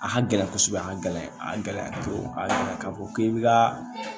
A ka gɛlɛn kɔsɔbɛ a ka gɛlɛn a gɛlɛya te yen a ka fɔ k'i bi ka